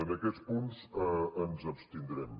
en aquests punts ens abstindrem